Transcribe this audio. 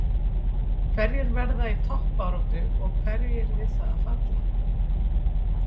Hverjir verða í toppbaráttu og hverjir við það að falla?